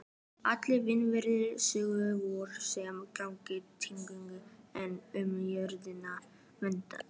Allir innviðir sögunnar voru sem sagt tilhöggnir, en umgjörðina vantaði.